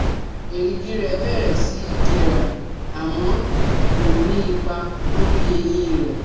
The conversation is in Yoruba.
Èrìgì rẹ̀ bẹ̀rẹ̀ sí jẹrà, àmọ́ ko ní ipa lórí eyín rẹ̀